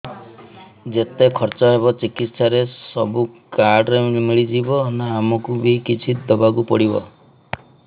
ଯେତେ ଖର୍ଚ ହେବ ଚିକିତ୍ସା ରେ ସବୁ କାର୍ଡ ରେ ମିଳିଯିବ ନା ଆମକୁ ବି କିଛି ଦବାକୁ ପଡିବ